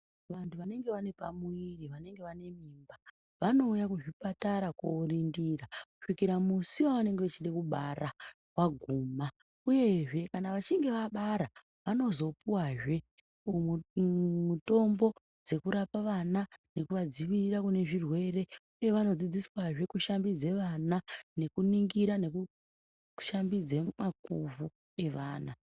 Vantu vanenge vane pamuviri vaine mimba, vanouya kuzvipatara koorindira kusvika musi wavanenge vechida kubara waguma. Uyezve kana vachinge vabara vanozopuwa zve mutombo dzekurapa vana nekuvadzivirira kune zvirwere. Uye vanodzidziswa zve kushambidza vana nekuningira nekushambidza makuvhu evana.